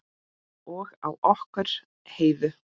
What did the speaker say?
Og á okkur Heiðu.